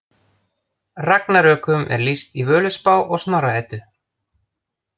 Ragnarökum er lýst í Völuspá og Snorra Eddu.